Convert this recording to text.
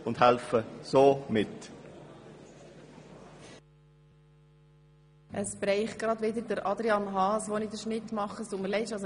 Es trifft schon wieder Adrian Haas, wenn es darum geht, wer erst an der nächsten Sitzung sprechen darf.